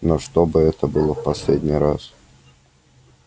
но чтобы это было в последний раз